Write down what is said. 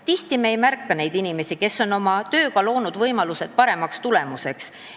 Tihti ei märka me neid inimesi, kes on oma tööga loonud võimalused parema tulemuse saavutamiseks.